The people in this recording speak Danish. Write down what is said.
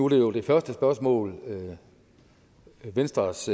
det jo det første spørgsmål venstres